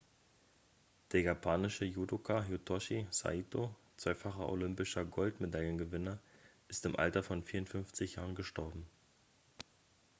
der japanische judoka hitoshi saito zweifacher olympischer goldmedaillengewinner ist im alter von 54 jahren gestorben